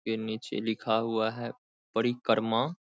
के नीचे लिखा हुआ है परिकर्मा।